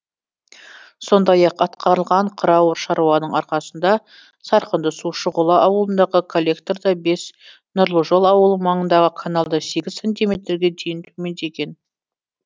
сондай ақ атқарылған қыруар шаруаның арқасында сарқынды су шұғыла ауылындағы коллекторда бес нұрлы жол ауылы маңындағы каналда сегіз сантиметрге дейін төмендеген